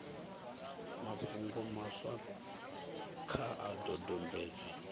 mafhungo maswa kha a dodombedzwe